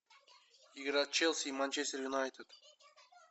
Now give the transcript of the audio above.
игра челси и манчестер юнайтед